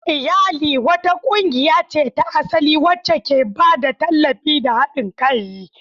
Iyali wata ƙungiya ce ta asali wacce ke ba da tallafi da haɗin kai.